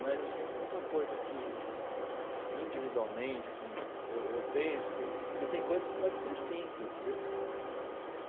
Mas, assim, uma coisa que, que individualmente assim, eu eu penso assim que tem coisas que podem ser simples, viu?